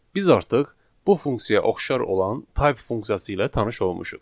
Biz artıq bu funksiyaya oxşar olan type funksiyası ilə tanış olmuşuq.